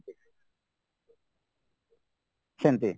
ସେମିତି